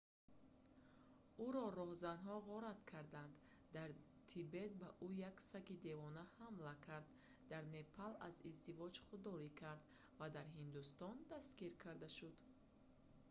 ӯро роҳзанҳо ғорат карданд дар тибет ба ӯ як саги девона ҳамла кард дар непал аз издивоҷ худдорӣ кард ва дар ҳиндустон дастгир карда шуд